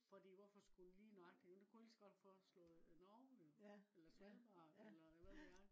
fordi hvorfor skulle den lige nøjagtigt. den kunne lige så godt have forslået norge jo eller sverige eller eller hvad ved jeg